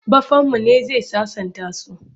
Baffanmu ne zai sasanta su.